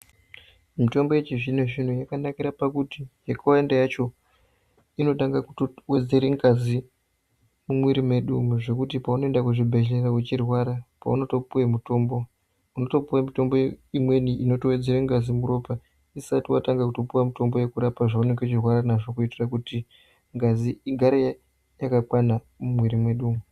Mitombo yechizvinozvino yakanakira pakuti yakawanda yacho inotanga kutowedzere ngazi mumwiri mwedu zvekuti paunoenda kuchibhehlera uchirwara, paunotopiwe mitombo unotopiwe mitombo imweni inotowedzere ngazi muropa usati watopiwe mitombo yezvaunenge uchirwara nazvo kuitira kuti ngazi igare yakakwana mumwiri mwedu umu.